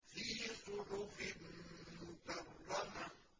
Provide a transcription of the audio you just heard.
فِي صُحُفٍ مُّكَرَّمَةٍ